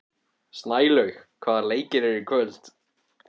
Snælaug, hvaða leikir eru í kvöld?